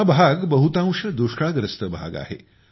हा भाग बहुतांश दुष्काळग्रस्त भाग आहे